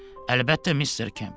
Əlbəttə, Mister Kemp.